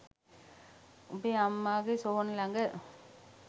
උබේ අම්මගේ සොහොන ළග.